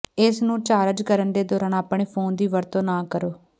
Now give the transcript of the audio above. ਇਸ ਨੂੰ ਚਾਰਜ ਕਰਨ ਦੇ ਦੌਰਾਨ ਆਪਣੇ ਫੋਨ ਦੀ ਵਰਤੋਂ ਨਾ ਕਰੋ